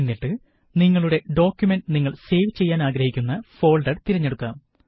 എന്നിട്ട് നിങ്ങളുടെ ഡോക്കുമന്റ് നിങ്ങള് സേവ് ചെയ്യാന് ആഗ്രഹിക്കുന്ന ഫോള്ഡര് തിരഞ്ഞെടുക്കാം